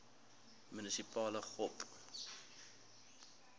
munisipale gop